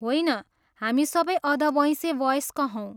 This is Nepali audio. होइन, हामी सबै अधबैँसे वयस्क हौँ।